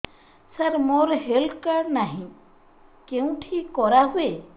ସାର ମୋର health card ନାହିଁ କେଉଁଠି କରା ହୁଏ